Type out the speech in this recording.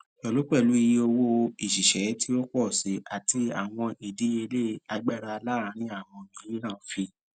pẹlupẹlu iye owo iṣiṣẹ ti o pọ si ati awọn idiyele agbara laarin awọn miiran fi